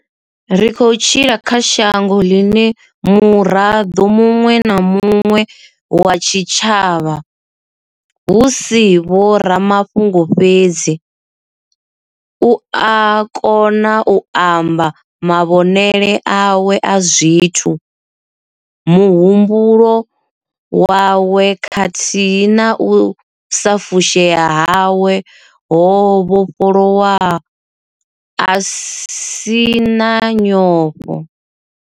Ri khou tshila kha shango ḽine muraḓo muṅwe na mu ṅwe wa tshitshavha, hu si vhoramafhungo fhedzi, u a kona u amba mavhonele awe a zwithu, muhumbulo wawe khathihi na u sa fushea hawe ho vhofholowa a si na nyofho.